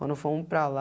Quando fomos para lá,